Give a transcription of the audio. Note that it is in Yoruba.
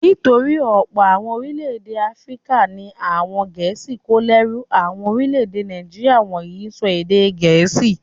Nítorí ọ̀pọ̀ àwọn orílẹ̀-èdè Áfíríkà ni àwọn Gẹ̀ẹ́sì kó lẹ́rú. Àwọn orílẹ̀-èdè Nàìjíríà wọ̀nyí ń sọ èdè Gẹ̀ẹ́sì.